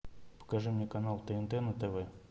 покажи мне канал тнт на тв